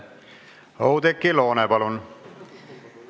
Oudekki Loone, palun!